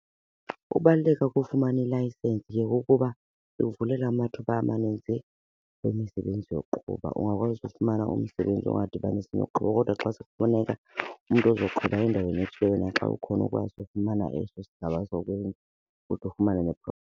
Ukubaluleka kofumana ilayisensi ke kukuba ikuvulela amathuba amaninzi emisebenzi yokuqhuba. Ungakwazi ufumana umsebenzi ongadibanisi nokuqhuba kodwa xa sekufuneka umntu ozoqhuba endaweni ethile wena xa ukhona ukwazi ukufumana eso sigaba kuthi ufumane .